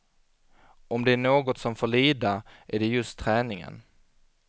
Om det är något som får lida, är det just träningen.